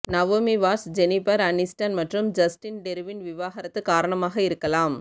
Naomi Watts Jennifer Aniston மற்றும் Justin டெருவின் விவாகரத்து காரணமாக இருக்கலாம்